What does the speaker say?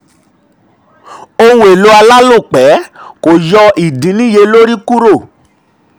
ohun èlò alálọ́pẹ̀ kò yọ kò yọ idínníyelori kúrò.